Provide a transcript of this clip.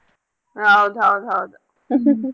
ಹೌದ್ ಹೌದ್ ಹೌದ್.